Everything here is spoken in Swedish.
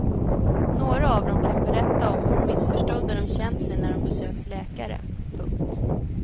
Några av dem kan berätta om hur missförstådda de känt sig när de besökt läkare. punkt